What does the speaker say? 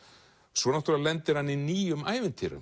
svo náttúrulega lendir hann í nýjum ævintýrum